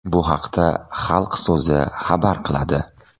Bu haqda Xalq so‘zi xabar qiladi .